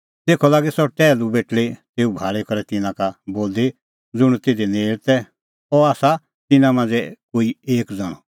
तेखअ लागी सह टैहलू बेटल़ी तेऊ भाल़ी करै तिन्नां का बोलदी ज़ुंण तिधी नेल़ तै अह आसा तिन्नां मांझ़ै कोई एक ज़ण्हअ